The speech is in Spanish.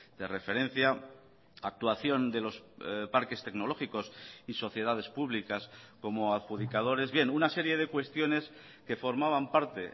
de referencia actuación de los parques tecnológicos y sociedades públicas como adjudicadores bien una serie de cuestiones que formaban parte